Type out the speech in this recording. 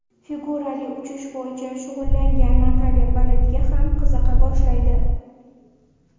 Figurali uchish bo‘yicha shug‘ullangan Natalya baletga ham qiziqa boshlaydi.